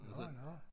Nå nå